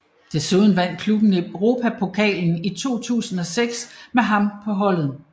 Desuden vandt klubben Europapokalen i 2006 med ham på holdet